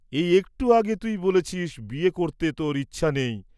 এই একটু আগে তুই বলেছিস্ বিয়ে করতে তোর ইচ্ছা নেই।